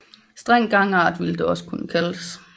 Streng gangart ville det også kunne kaldes